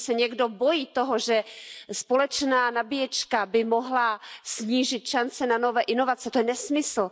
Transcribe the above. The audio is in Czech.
Jestliže se někdo bojí toho, že společná nabíječka by mohla snížit šance na nové inovace, to je nesmysl.